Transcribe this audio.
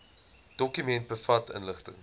dokument bevat inligting